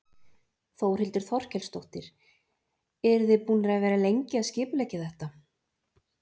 Þórhildur Þorkelsdóttir: Eru þið búnar að vera lengi að skipuleggja þetta?